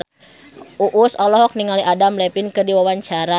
Uus olohok ningali Adam Levine keur diwawancara